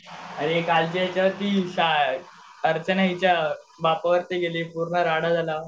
अरे कालच्या याच्यावरती अर्चना हयाच्या बापावरती गेली पूर्ण राडा झाला